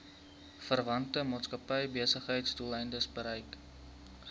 verwante maatskappybesigheidsdoeleindes gebruik